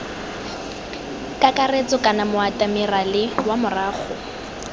kakaretso kana moatemerale wa morago